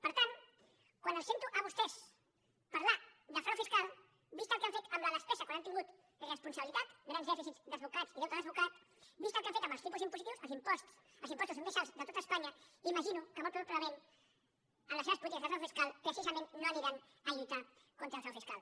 per tan quan els sento a vostès parlar de frau fiscal vist el que han fet amb la despesa quan han tingut res·ponsabilitat grans dèficits desbocats i deute desbocat vist el que han fet amb els tipus impositius els impos·tos més alts de tot espanya imagino que molt proba·blement en les seves polítiques contra el frau fiscal precisament no aniran a lluitar contra el frau fiscal